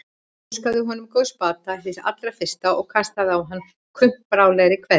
Óskaði honum góðs bata hið allra fyrsta og kastaði á hann kumpánlegri kveðju.